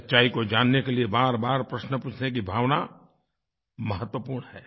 सच्चाई को जानने के लिए बारबार प्रश्न पूछने की भावना महत्वपूर्ण है